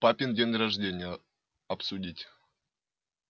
папин день рождения обсудить